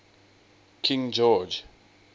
king george